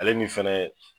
Ale ni fɛnɛ